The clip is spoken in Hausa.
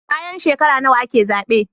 Bayan shekara nawa ake zabe